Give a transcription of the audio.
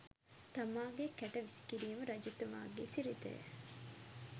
තමාගේ කැට වීසිකිරීම රජතුමාගේ සිරිතය.